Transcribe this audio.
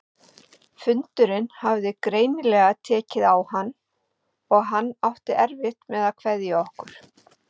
Fundurinn hafði greinilega tekið á hann- og hann átti erfitt með að kveðja okkur.